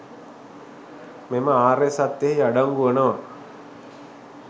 මෙම ආර්ය සත්‍යයෙහි අඩංගු වනවා.